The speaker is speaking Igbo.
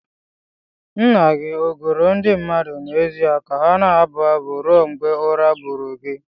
Nna gị ọ goro ndị mmadụ n'ezie ka ha na-abụ abụ ruo mgbe ụra buuru gị?